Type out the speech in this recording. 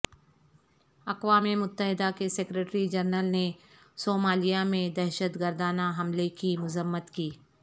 اقوام متحدہ کے سکریٹری جنرل نے صومالیہ میں دہشت گردانہ حملے کی مذمت کی